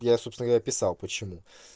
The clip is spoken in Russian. я собственно говоря написал почему